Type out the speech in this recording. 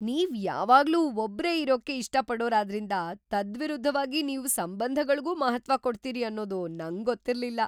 ನೀವ್‌ ಯಾವಾಗ್ಲೂ ಒಬ್ರೇ ಇರೋಕ್ಕೇ ಇಷ್ಟಪಡೋರಾದ್ರಿಂದ ತದ್ವಿರುದ್ಧವಾಗಿ ನೀವು ಸಂಬಂಧಗಳ್ಗೂ ಮಹತ್ತ್ವ ಕೊಡ್ತೀರಿ ಅನ್ನೋದು ನಂಗೊತ್ತಿರ್ಲಿಲ್ಲ.